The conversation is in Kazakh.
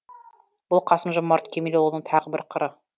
бұл қасым жомарт кемелұлының тағы бір қыры